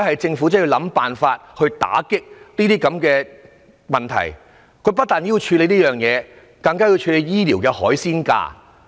政府真的要想辦法打擊這些問題，更要處理醫療服務的"海鮮價"。